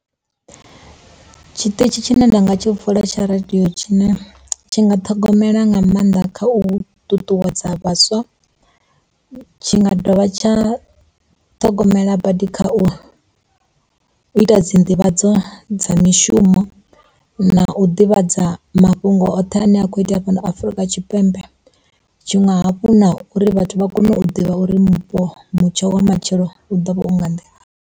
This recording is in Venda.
Tshiṱitshi tshine nda nga tshi vula tsha radio tshine tshi nga ṱhogomela nga maanḓa kha u ṱuṱuwedza vhaswa, tshi nga dovha tsha ṱhogomela badi kha u, u ita dzi nḓivhadzo dza mishumo na u ḓivhadza mafhungo oṱhe ane a kho itea fhano Afurika Tshipembe. Tshiṅwe hafhu na uri vhathu vha kone u ḓivha uri mupo, mutsho wa matshelo u ḓovha u nga nḓila.